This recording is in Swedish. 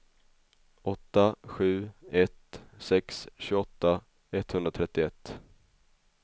åtta sju ett sex tjugoåtta etthundratrettioett